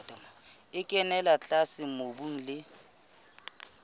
e kenella tlase mobung le